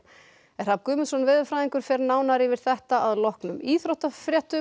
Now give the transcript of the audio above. Hrafn Guðmundsson veðurfræðingur fer nánar yfir þetta að loknum íþróttafréttum